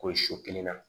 Ko so kelen na